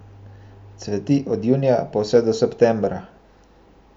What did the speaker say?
Cveti od junija pa vse do septembra.